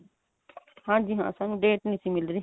ਹਾਂਜੀ ਹਾਂ ਸਾਨੂੰ date ਨਹੀਂ ਸੀ ਮਿਲ ਰਹੀ